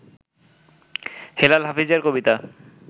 হেলাল হাফিজের কবিতা